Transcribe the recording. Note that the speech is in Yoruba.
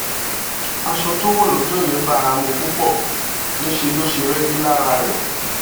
aṣọ tó wọ̀ lọ́jọ́ yẹn bá a mú púpọ̀ níṣẹ́ ló ṣe rẹ́gí lára ẹ̀